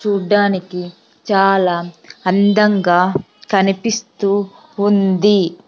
చూడ్డానికి చాలా అందంగా కనిపిస్తూ ఉంది .